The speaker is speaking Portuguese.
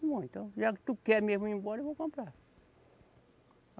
Bom, então, já que tu quer mesmo ir embora, eu vou comprar.